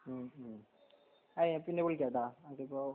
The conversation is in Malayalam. മ്മ് മ്മ്ഹ് അഹ് ഞാൻ പിന്നെ വിളിക്കാട്ടാ അതിപ്പോ